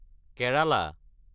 Kerala